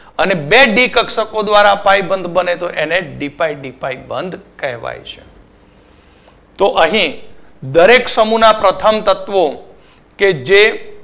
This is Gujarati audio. અને બે ડી કક્ષકો દ્વારા પાઇ બંધ બને તો એને ડી પાઇ ડી પાઇ બંધ કહેવાય છે તો અહી દરેક સમુહ ના પ્રથમ તત્વો કે જે